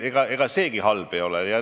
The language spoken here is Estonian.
Ega seegi halb ei ole.